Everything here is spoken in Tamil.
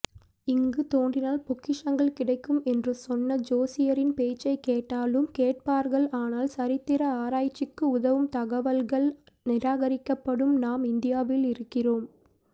இங்கு தோண்டினால் பொக்கிஷங்கள் கிடைக்கும் என்று சொன்ன ஜோசியரின்பேச்சைக்கேட்டாலும் கேட்பார்கள் ஆனால்சரித்திர ஆராஉய்ச்சிகு உதவும்தகவல்கள் நிராகரிக்கப்படும் நாம் இந்தியாவில் இருக்கிறோம்